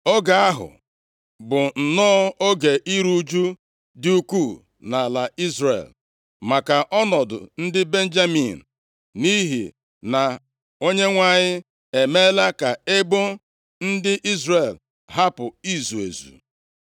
Oge ahụ bụ nnọọ oge iru ụjụ dị ukwuu nʼala Izrel maka ọnọdụ ndị Benjamin, nʼihi na Onyenwe anyị emeela ka ebo ndị Izrel hapụ izu ezu.